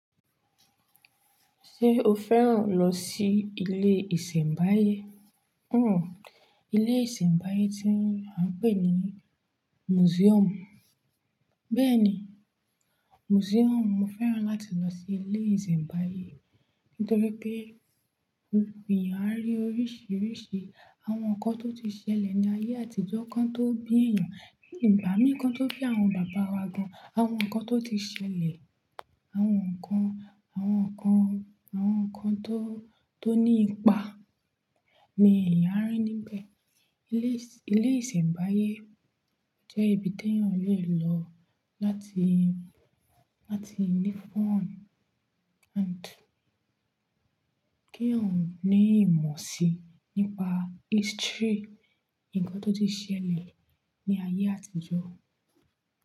Ṣé o fẹ́ràn lọ sí ilé ìsẹ̀mbáyé? Hmmm. Ilé ìsẹ̀mbáyé tí a ń pè ní museum. Bẹ́ẹ̀ni, museum. Mo fẹ́ràn láti lọ sí ilé ìsẹ̀mbáyé nítorí pé èèyàn a rí oríṣìíríṣìí àwọn nǹkan tó ti ṣẹlẹ̀ ní ayé àtijọ́ kan tó bí èèyàn. Ní ìgbà mí kan tó bí àwọn bàbá wa gan, àwọn nǹkan tó ti ṣẹlẹ̀, àwọn nǹkan, àwọn nǹkan, àwọn nǹkan tó, tó ní ipa ni èèyàn a rí níbẹ̀. Ilé ìsẹ̀mbáyé jẹ́ ibi tí èèyàn lè lọ láti, láti ní fun and kí èèyàn ó ní ìmọ̀ si nípa history, nǹkan tó ti ṣẹlẹ̀ ní ayé àtijọ́